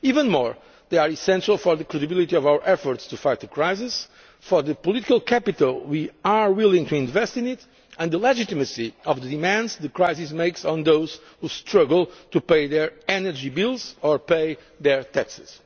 citizens. Even more, they are essential for the credibility of our efforts to fight the crisis, for the political capital we are willing to invest in it and the legitimacy of the demands the crisis makes on those who struggle to pay their energy bills or their